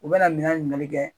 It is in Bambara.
U bɛna minɛn ɲininkali kɛ